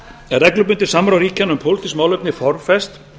er reglubundið samráð ríkjanna um pólitískt málefni formfest